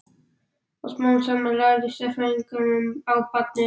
Og smám saman lærðu sérfræðingarnir á barnið.